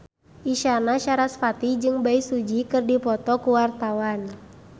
Isyana Sarasvati jeung Bae Su Ji keur dipoto ku wartawan